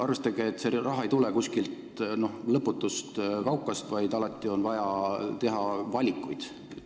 Arvestage, et see raha ei tule kuskilt lõputust kaukast, vaid alati on vaja teha valikuid.